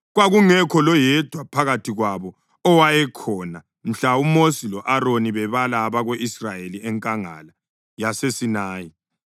Kwakungekho loyedwa phakathi kwabo owayekhona mhla uMosi lo-Aroni bebala abako-Israyeli enkangala yaseSinayi.